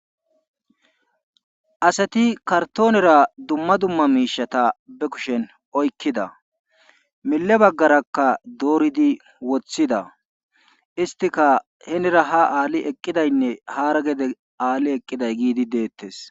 Asati kartonera dumma dumma miishata ba kushen oykkida mile bagarakka dooridi woththida istikka hinira ha ali eqqidaynne hara ya ali eqqiday detees.